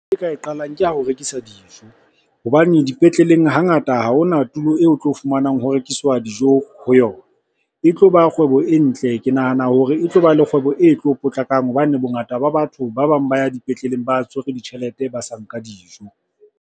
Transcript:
Ka e qalang ke ya ho rekisa dijo hobane dipetleleng hangata ha hona tulo eo o tlo fumanang ho rekiswa dijo ho yona. E tloba kgwebo e ntle, ke nahana hore e tloba le kgwebo e tlo potlakang hobane bongata ba batho ba bang ba ya dipetleleng ba tshwerwe ditjhelete ba sa nka dijo.